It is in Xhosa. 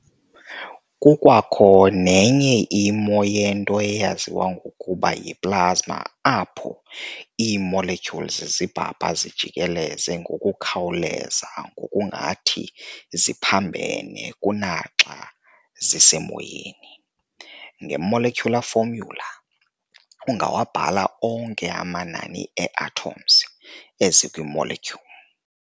Kukwakho nenye imo yento eyaziwa ngokuba yi-plasma apho ii-molecules zibhabha zijikeleze ngokukhawuleza ngokungathi ziphambene kunaxa zisemoyeni. nge-molecular formula, ungawabhala onke amanani ee-atoms ezikwi- molecule.